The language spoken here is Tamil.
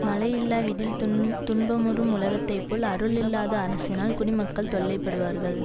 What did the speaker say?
மழையில்லாவிடில் துன்துன்பமுறும் உலகத்தை போல் அருள் இல்லாத அரசினால் குடிமக்கள் தொல்லைப்படுவார்கள்